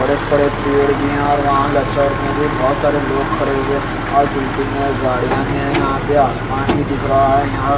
बड़े बड़े पेड़ भी हैं और वहां लेफ्ट साइड में भी बहोत सारे लोग खड़े हुए और बिल्डिंग है गाड़ियां भी है यहां पे आसमान भी दिख रहा है यहां--